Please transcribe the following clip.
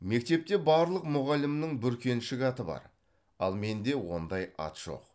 мектепте барлық мұғалімнің бүркеншік аты бар ал менде ондай ат жоқ